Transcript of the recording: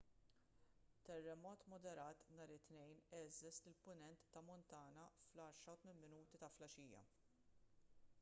terremot moderat nhar it-tnejn għeżżeż lill-punent ta' montana fl-10:08 ta' filgħaxija